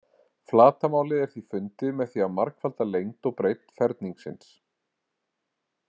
Flatarmálið er því fundið með því að margfalda lengd og breidd ferningsins.